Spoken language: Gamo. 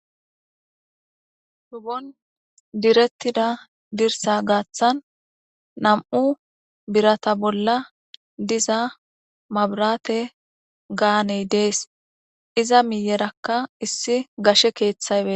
Hubon direttida dirsa gaaththan nam7u birata bolla diza mabrate gaaney dees iza miyerakka issi gashe keeththaybe.